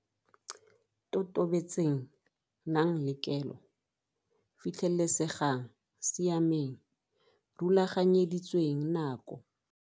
Totobetseng Nang le kelo Fitlhelesegang Siameng Rulaganyeditsweng nako.